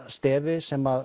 stefi sem